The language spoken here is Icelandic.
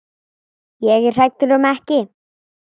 Ég er hræddur um ekki.